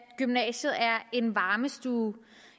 gymnasiet er en varmestue